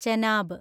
Chenab